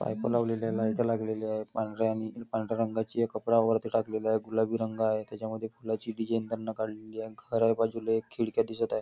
Pipe लावलेली आहे light लागलेली आहे पांढऱ्या रंगाचा कापड टाकलेला आहे वरती गुलाबी रंग आहे त्याच्यामध्ये फुलाची डिसाईन काढलेली आहे घर आहे बाजूला एक खिडक्या दिसत आहे.